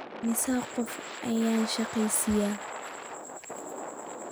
Immisa qof ayaad shaqeysaa?